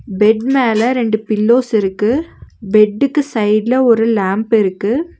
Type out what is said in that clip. Bed மேல ரெண்டு pillows இருக்கு பெட்டுக்கு சைடுல ஒரு லாம்ப் இருக்கு.